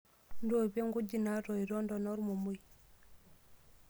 Ntoipie nkujit naatoito ntona ormomoi.